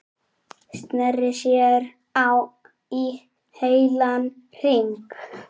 Sneri sér í heilan hring.